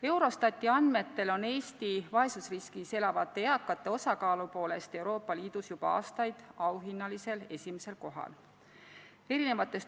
Eurostati andmetel on Eesti vaesusriskis elavate eakate osakaalu poolest Euroopa Liidus juba aastaid auhinnalisel esimesel kohal.